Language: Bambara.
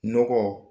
Nɔgɔ